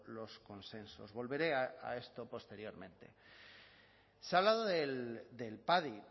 los consensos volveré a esto posteriormente se ha hablado del padi